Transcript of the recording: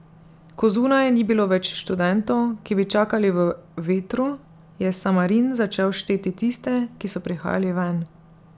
Ko zunaj ni bilo več študentov, ki bi čakali v vetru, je Samarin začel šteti tiste, ki so prihajali ven.